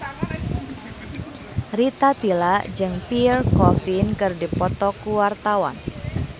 Rita Tila jeung Pierre Coffin keur dipoto ku wartawan